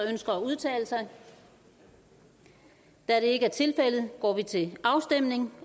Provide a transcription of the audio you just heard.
der ønsker at udtale sig da det ikke er tilfældet går vi til afstemning